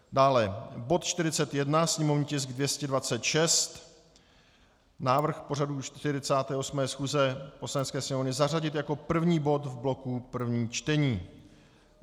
Dále bod 41, sněmovní tisk 226, návrh pořadu 48. schůze Poslanecké sněmovny, zařadit jako první bod v bloku prvních čtení.